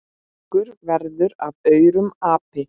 Margur verður af aurum api.